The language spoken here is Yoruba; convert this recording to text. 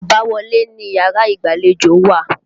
Àbáwọlé niyàrá ìgbàlejò wà.